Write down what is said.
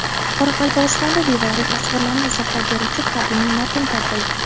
Qoraqalpog‘istonda devoriy tasvirlarni izohlab beruvchi qadimiy matn topildi.